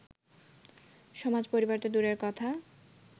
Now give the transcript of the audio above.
সমাজ, পরিবার তো দূরের কথা